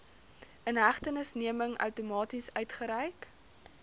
inhegtenisneming outomaties uitgereik